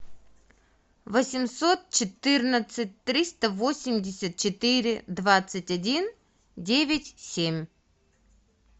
восемьсот четырнадцать триста восемьдесят четыре двадцать один девять семь